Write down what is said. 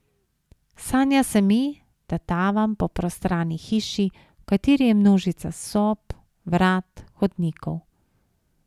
Sanja se mi, da tavam po prostrani hiši, v kateri je množica sob, vrat, hodnikov.